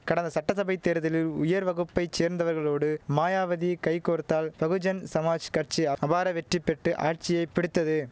கடந்த சட்டசபை தேர்தலில் உயர் வகுப்பை சேர்ந்தவர்களோடு மாயாவதி கை கோர்த்தால் பகுஜன் சமாஜ் கட்சி அபார வெற்றி பெற்று ஆட்சியை பிடித்தது